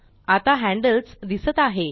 आता हैन्ड्ल्स दिसत आहे